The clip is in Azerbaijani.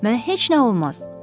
Mənə heç nə olmaz.